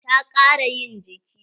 Ta ƙara yin jiki.